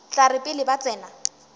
tla re pele ba tsena